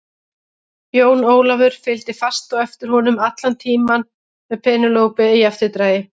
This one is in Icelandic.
Jón Ólafur fylgdi fast á eftir honum allan tímann með Penélope í eftirdragi.